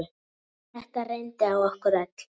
Þetta reyndi á okkur öll.